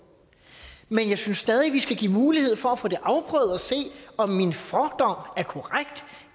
men jeg synes stadig vi skal give mulighed for at få det afprøvet og se om min fordom er korrekt